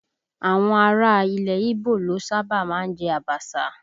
Àwọn ará ilẹ̀ ígbò ló sábà má ń jẹ Abaṣa